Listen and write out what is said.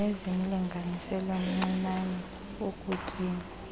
nezimlinganiselo mncinane ekutyeni